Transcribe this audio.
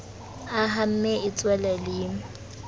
a hamme e tswele le